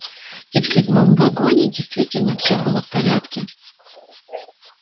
и в седьмом вагоне действительно все было в порядке